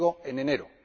y digo en enero.